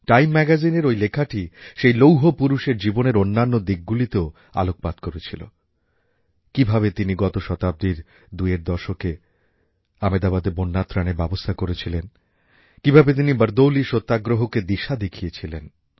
time ম্যাগাজিনের ওই লেখাটি সেই লৌহ পুরুষের জীবনের অন্যান্য দিকগুলিতেও আলোকপাত করেছিল কীভাবে তিনি গত শতাব্দীর দুইয়ের দশকে আমেদাবাদে বন্যাত্রাণের ব্যবস্থা করেছিলেন কীভাবে তিনি বারদৌলি সত্যাগ্রহকে দিশা দেখিয়েছিলেন